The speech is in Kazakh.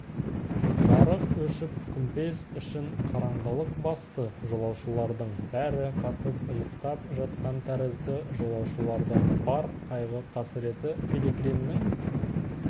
жарық өшіп күмбез ішін қараңғылық басты жолаушылардың бәрі қатып ұйықтап жатқан тәрізді жолаушылардың бар қайғы-қасіреті пилигримнің